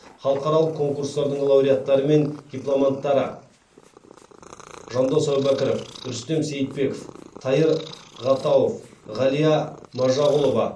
халықаралық конкурстардың лауреаттары мен дипломанттары жандос әубәкіров рүстем сейітбеков тайыр ғатауов ғалия мажағұлова